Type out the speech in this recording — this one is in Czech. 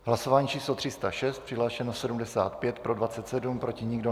Hlasování číslo 306, přihlášeno 75, pro 23, proti nikdo.